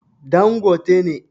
Dan gote ne